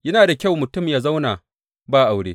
Yana da kyau mutum yă zauna ba aure.